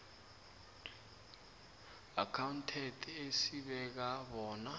accountant esibeka bona